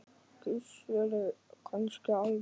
Gissuri kannski alvara.